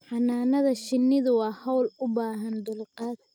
Xannaanada shinnidu waa hawl u baahan dulqaad